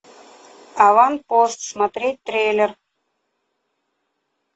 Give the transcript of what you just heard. аванпост смотреть трейлер